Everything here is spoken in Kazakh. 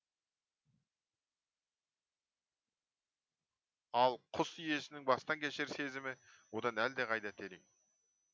ал құс иесінің бастан кешер сезімі одан әлдеқайда терең